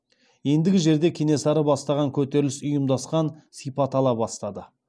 ендігі жерде кенесары бастаған көтеріліс ұйымдасқан сипат ала бастады